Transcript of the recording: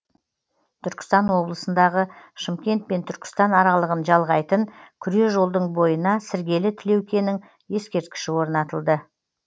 түркістан облысындағы шымкент пен түркістан аралығын жалғайтын күре жолдың бойына сіргелі тілеукенің ескерткіші орнатылды